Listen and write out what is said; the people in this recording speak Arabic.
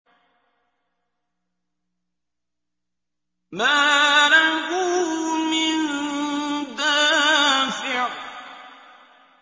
مَّا لَهُ مِن دَافِعٍ